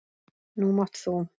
Nú mátt þú.